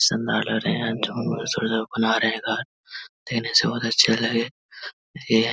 बना रहे हैं घर देखने से बोहोत अच्छे लगे ये है --